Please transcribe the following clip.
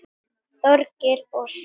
Þorgeir og Sveinn.